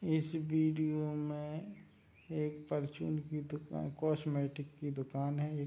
इस वीडियो में एक परचून की दुकान कॉस्मेटिक की दुकान है। एक --